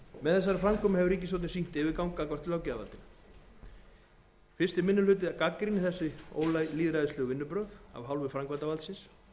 með þessari framkomu hefur ríkisstjórnin sýnt yfirgang gagnvart löggjafarvaldinu fyrsti minni hluti gagnrýnir þessi ólýðræðislegu vinnubrögð af hálfu framkvæmdarvaldsins